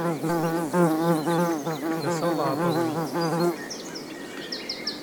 косолаповой